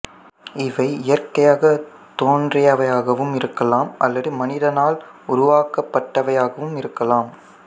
இவை இயற்கையாகத் தோன்றியவையாகவும் இருக்கலாம் அல்லது மனிதனால் உருவாக்கப்பட்டவையாகவும் இருக்கலாம்